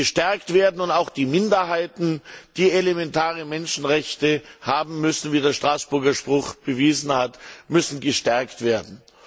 gestärkt werden, und auch die Minderheiten, die elementare Menschenrechte haben müssen, wie der Straßburger Gerichtspruch bewiesen hat, müssen gestärkt werden.